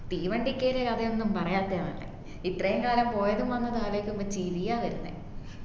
തീവണ്ടി കേറിയ കഥയൊന്നും പറയാതേയ നല്ലേ ഇത്രേം കാലം പോയതും വന്നതും ആലോചിക്കുബം ചിരിയാ വരുന്നേ